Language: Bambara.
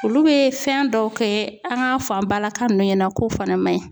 Olu bɛ fɛn dɔw kɛ an k'a fɔ an balaka ninnu ɲɛna k'o fana man ɲi